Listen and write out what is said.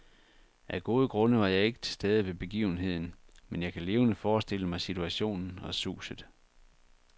Af gode grunde var jeg ikke til stede ved begivenheden, men jeg kan levende forestille mig situationen og suset.